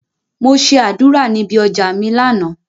Mo ṣe àdúrà níbi ọjà mi lánàá.